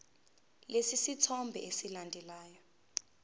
lesi sithombe esilandelayo